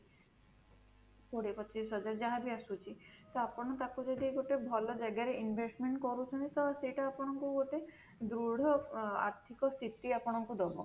କୋଡିଏ ପଚିଶ ହଜାରେ ଯାହା ବି ଆସୁଛି ତ ଆପଣ ତାକୁ ଯଦି ଗୋଟେ ଭଲ ଜାଗାରେ investment କରୁଛନ୍ତି ତ ସେଇଟା ଆପଣଙ୍କୁ ଗୋଟେ ଦୃଢ ଆର୍ଥିକ ସ୍ଥିତି ଆପଣଙ୍କୁ ଦବ